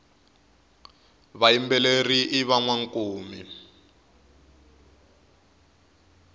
vayimbeleri i vanwankumi